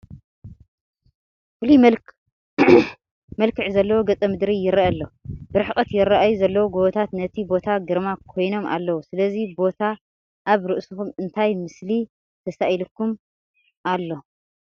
ፍሉይ መልዕ ዘለዎ ገፀ ምድሪ ይርአ ኣሎ፡፡ ብርሕቐት ይርአዩ ዘለዉ ጐቦታት ነቲ ቦታ ግርማ ኮይኖሞ ኣለዉ፡፡ ስለዚ ቦታ ኣብ ርእስኹም እንታይ ምስሊ ተሳኢሉኩም ኣሎ?